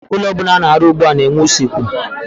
Ụlọ ọbụla ana-arụ ugbua na-enwe usekwu.